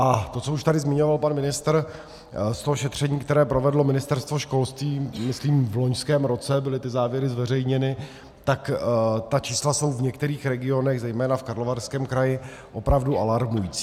A to, co už tady zmiňoval pan ministr, z toho šetření, které provedlo Ministerstvo školství, myslím, v loňském roce byly ty závěry zveřejněny, tak ta čísla jsou v některých regionech, zejména v Karlovarském kraji, opravdu alarmují.